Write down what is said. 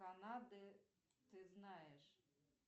канады ты знаешь